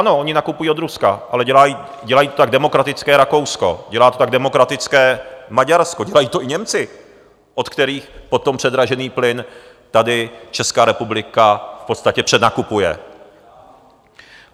Ano, oni nakupují od Ruska, ale dělá to tak demokratické Rakousko, dělá to tak demokratické Maďarsko, dělají to i Němci, od kterých potom předražený plyn tady Česká republika v podstatě přednakupuje.